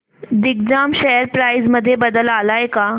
Digjam share price मध्ये बदल आलाय का